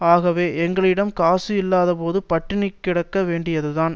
ஆகவே எங்களிடம் காசு இல்லாதபோது பட்டினி கிடக்க வேண்டியதுதான்